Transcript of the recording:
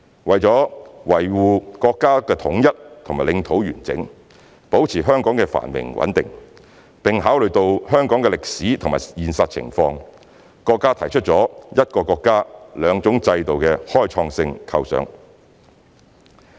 為了維護國家的統一和領土完整，保持香港的繁榮和穩定，並考慮到香港的歷史和現實情況，國家提出了"一個國家，兩種制度"的開創性構想。